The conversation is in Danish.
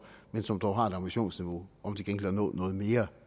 men som dog har et ambitionsniveau om til gengæld at nå noget mere